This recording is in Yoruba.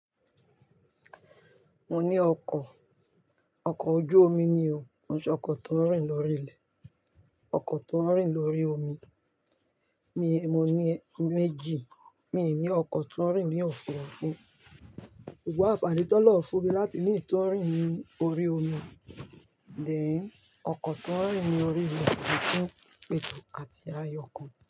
Mo ní ọkọ̀, ọkọ̀ ojú omi ni o, ọkọ̀ tó ń rìn lórí ilẹ̀, ọkọ̀ tó ń rìn lórí omi, mo ní méjì, mi ò ní ọkọ̀ tó ń rìn ní òfuurufú, ṣugbọn anfaani tó ọlọ́run fún mi láti ní iyí tó ń rìn ní orí omi, den, ọkọ̀ tó ń rìn ní orí ilẹ̀ kún pẹ̀tù àti ayọkù.